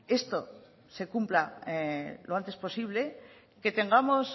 esto se cumpla lo antes posible que tengamos